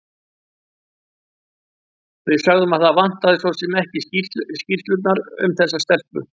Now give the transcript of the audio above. Við sögðum að það vantaði svo sem ekki skýrslurnar um þessa telpu.